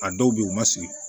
A dɔw bɛ yen u ma sigi